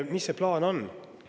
Mis see plaan on?